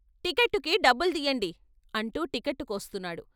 టిక్కట్టుకి డబ్బుల్దియండి అంటూ టిక్కట్టు కోస్తున్నాడు.